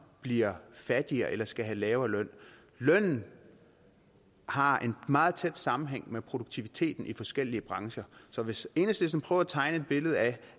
bliver fattigere eller skal have en lavere løn lønnen har en meget tæt sammenhæng med produktiviteten i forskellige brancher så hvis enhedslisten prøver at tegne et billede af